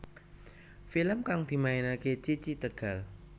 Film kang dimainake Cici Tegal